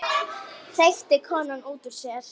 hreytir konan út úr sér.